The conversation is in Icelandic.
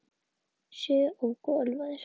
Sjö óku ölvaðir